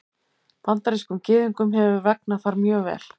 Bandarískum Gyðingum hefur vegnað þar mjög vel.